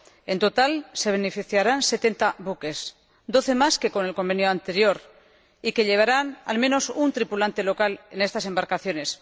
En total, se beneficiarán de él setenta buques, doce más que con el convenio anterior, que llevarán, al menos, un tripulante local en estas embarcaciones.